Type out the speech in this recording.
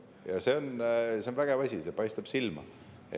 Ja see on vägev asi, see paistab silma.